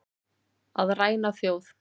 Að ræna þjóð